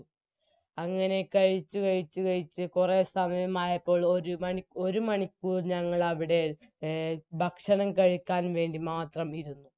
അങ്ങനെ കഴിച്ചു കഴിച്ചു കഴിച്ചു കുറെ സമയമായപ്പോൾ ഒരു മണിക് ഒരുമണിക്കൂർ ഞങ്ങളവിടെ ഭക്ഷണം കഴിക്കാൻ വേണ്ടി മാത്രം ഇരുന്നു